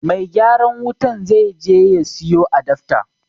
Mai gyaran wutan zai je ya siyo adafta